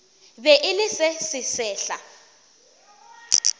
be e le se sesehla